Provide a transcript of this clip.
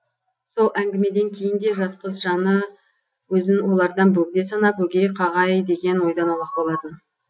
сол әңгімеден кейін де жас қыз жаны өзін олардан бөгде санап өгей қағай деген ойдан аулақ болатын